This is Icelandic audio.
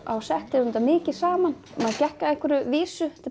á setti vorum mikið saman maður gekk að einhverju vísu